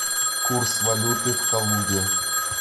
курс валюты в калуге